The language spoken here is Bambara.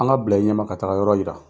An ka bila i ɲɛma ka taga yɔrɔ yira.